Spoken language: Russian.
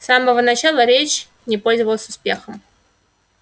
с самого начала речь не пользовалась успехом